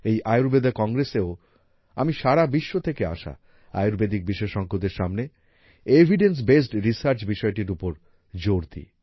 এই আয়ুর্বেদ Congressএও আমি সারা বিশ্ব থেকে আসা আয়ুর্বেদিক বিশেষজ্ঞদের সামনে এভিডেন্স বেসড রিসার্চ বিষয়টির ওপর জোর দিই